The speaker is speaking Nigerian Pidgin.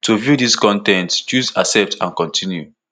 to view dis con ten t choose accept and continue